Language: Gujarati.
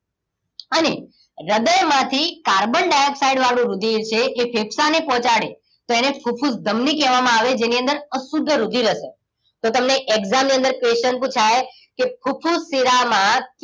અને હૃદયમાંથી કાર્બન ડાયોક્સાઇડ વાળુ રુધિર છે એ ફેફસાની ને પહોંચાડે તો એને ફુફુસ ધમની કહેવામાં આવે જેની અંદર અશુદ્ધ રુધિર હશે તો તમને exam ની અંદર question પુછાય કે ફુફુસ શિરામાં